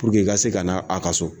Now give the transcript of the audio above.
i ka se ka n' a ka so.